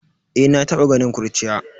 Eh, na taba ganin kurciya.